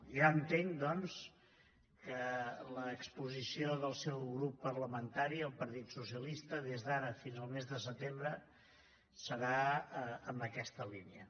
ja entenc doncs que l’exposició del seu grup parlamentari el partit socialista des d’ara fins al mes de setembre serà en aquesta línia